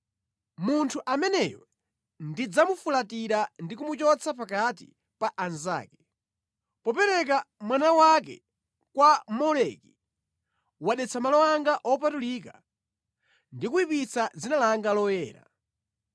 Munthu ameneyo ndidzamufulatira ndi kumuchotsa pakati pa anzake.’ Popereka mwana wake kwa Moleki, wadetsa malo anga wopatulika ndi kuyipitsa dzina langa loyera.